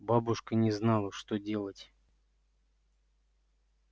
бабушка не знала что делать